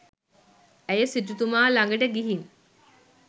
ඇය සිටුතුමා ළඟට ගිහින්